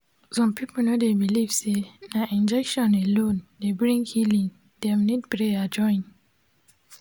some people no dey believe say na injection alone dey bring healing dem need prayer join.